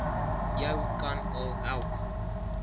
jou kan help